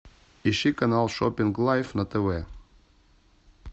ищи канал шопинг лайф на тв